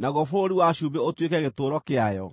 naguo bũrũri wa cumbĩ ũtuĩke gĩtũũro kĩayo.